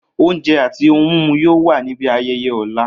Ounje ati ohun mimu yoo wa ni ibi ayẹyẹ ọla.